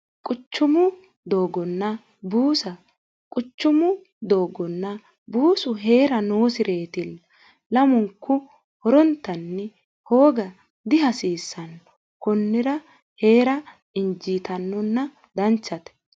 quchumu doogonna buusa quchumu doogonna buusu hee'ra noosi reetilla lamunku horontanni hooga dihasiissanno kunnira hee'ra injiitannonna danchate